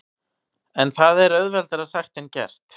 En það er auðveldara sagt en gert.